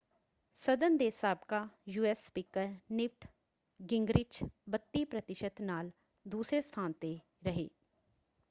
ਸਦਨ ਦੇ ਸਾਬਕਾ ਯੂਐਸ ਸਪੀਕਰ ਨਿਵਟ ਗਿੰਗਰਿਚ 32 ਪ੍ਰਤੀਸ਼ਤ ਨਾਲ ਦੂਸਰੇ ਸਥਾਨ 'ਤੇ ਰਹੇ।